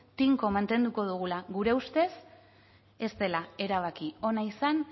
tinko mantenduko dugula gure ustez ez dela erabaki ona izan